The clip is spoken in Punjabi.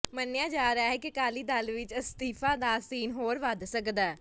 ਮੰਨਿਆ ਜਾ ਰਿਹਾ ਕਿ ਅਕਾਲੀ ਦਲ ਵਿੱਚ ਅਸਤੀਫ਼ਿਆ ਦਾ ਸੀਨ ਹੋਰ ਵੱਧ ਸਕਦਾ